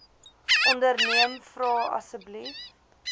onderneem vra asseblief